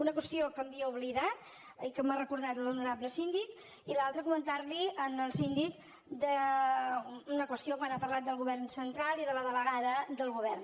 una qüestió que m’havia oblidat i que m’ha recordat l’honorable síndic i l’altra comentar li al síndic una qüestió quan ha parlat del govern central i de la delegada del govern